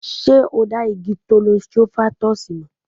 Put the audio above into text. Ṣé o dá igi Thollon Strophanthus mọ̀?